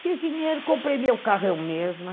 Fiz dinheiro, comprei meu carro, eu mesma.